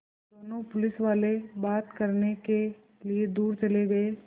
दोनों पुलिसवाले बात करने के लिए दूर चले गए